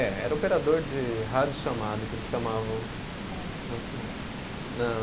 É, era operador de rádio chamada, que eles chamavam. Naquela época.